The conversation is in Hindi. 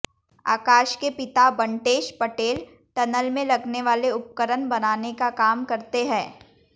आकाश के पिता बंटेश पटेल टनल में लगने वाले उपकरण बनाने का काम करते हैं